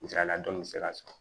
Misaliyala dɔnki mi se ka sɔrɔ